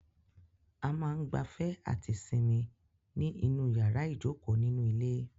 A máa ń gbafẹ́ àti sinmi ní inú yàrá ìjokòó nínú ilé.